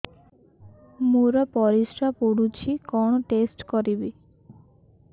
ମୋର ପରିସ୍ରା ପୋଡୁଛି କଣ ଟେଷ୍ଟ କରିବି